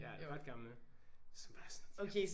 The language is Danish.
Ja ret gamle som bare sådan de har